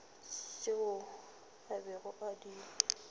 tšeo a bego a di